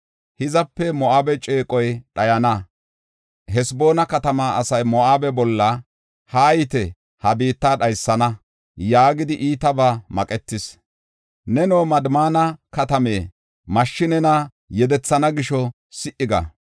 Hizape Moo7abe ceeqoy dhayana; Haseboona katamaa asay Moo7abe bolla, ‘Haayite, ha biitta dhaysana’ yaagidi iitabaa maqetis. Neno, Madmaana katame, mashshi nena yedethana gisho si77i ga.